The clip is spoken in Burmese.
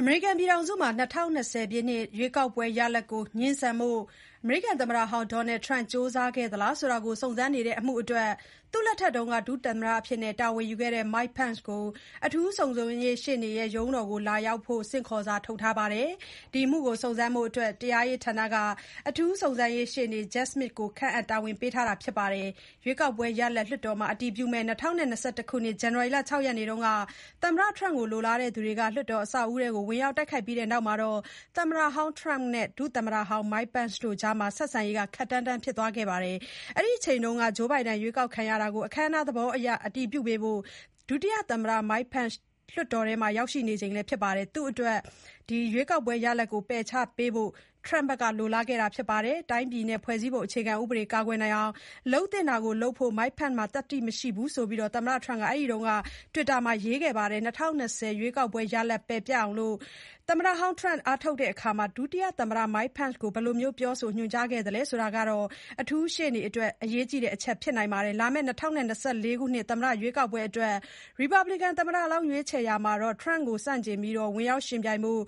အမေရိကန်ပြည်ထောင်စုမှာ ၂၀၂၀ ရွေးကောက်ပွဲရလဒ် ငြင်းဆန်ဖို့ သမ္မတဟောင်း Donald Trump ကြိုးစားခဲ့သလားဆိုတာ စုံစမ်းနေတဲ့ အမှုအတွက် သူ့လက်ထက် ဒုသမ္မတတာဝန်ယူခဲ့သူ Mike Pence ကို အထူးစုံစမ်းရေးရှေ့နေရဲ့ ရုံးတော်လာရောက်ဖို့ ဆင့်ခေါ်စာ ထုတ်ထားပါတယ်။ ဒီအမှုကို စုံစမ်းဖို့အတွက် တရားရေး ဌာန က အထူး စုံစမ်းရေး ရှေ့နေ Jack Smith ကို ခန့်အပ်တာဝန်ပေးထားပါတယ်။ ရွေးကောက်ပွဲရလာဒ် လွှတ်တော်မှာ အတည်ပြုမယ့် ၂၀၂၁ ဇန်နဝါရီ ၆ ရက်က Trump လိုလားသူတွေ လွှတ်တော်အဆောက်အဦးထဲ ဝင်ရောက် တိုက်ခိုက်ခဲ့ကြပြီးနောက် သမ္မတဟောင်း Trump နဲ့ ဒုသမ္မတဟောင်း Pence တို့ဟာ ဆက်ဆံရေး ခပ်တန်းတန်း ဖြစ်သွားခဲ့ပါတယ်။ အဲဒီအချိန်က Joe Biden ရွေးကောက်ခံရတာကို အခမ်းအနားသဘောအရ အတည်ပြုပေးဖို့ ဒုတိယ သမ္မတ Pence က လွှတ်တော်မှာ ရောက်နေချိန်ဖြစ်ပါတယ်။ သူ့အနေနဲ့ ရွေးကောက်ပွဲ ရလာဒ်ကို ပယ်ချပေးဖို့ Trump ကလိုလားခဲ့တာပါ။ “တိုင်းပြည် နဲ့ ဖွဲ့စည်းပုံ အခြေခံ ဥပဒေ ကာကွယ်အောင် လုပ်သင့်တာကို လုပ်ဖို့ Mike Pence မှာ သတ္တိ မရှိဘူး” လို့ သမ္မတ Trump က အဲဒီအချိန်က လူမှု စာမျက်နှာ တွစ်တာ မှာ ရေးခဲ့တာပါ။ ၂၀၂၀ ရွေးကောက်ပွဲ ရလဒ် ပယ်ပျက်အောင် သမ္မတဟောင်း Trump အားထုတ်ရာမှာ ဒုတိယ သမ္မတ Pence ကို ဘယ်လို ပြောဆိုညွှန်ကြားခဲ့သလဲဆိုတာကို အထူးရှေ့နေ Mr. Jack Smith အတွက် အရေးကြီးတဲ့ အချက် ဖြစ်နိုင်ပါတယ်။ လာမယ့် ၂၀၂၄ သမ္မတ ရွေးကောက်ပွဲအတွက် Republican သမ္မတလောင်း ရွေးချယ်ရာမှာ Trump ကို ဆန့်ကျင်ပြီး ဝင်ရောက်ယှဉ်ပြိုင်ဖို့